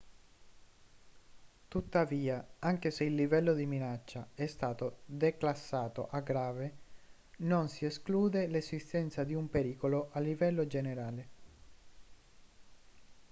tuttavia anche se il livello di minaccia è stato declassato a grave non si esclude l'esistenza di un pericolo a livello generale